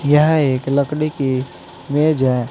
यह एक लकड़ी की मेज है।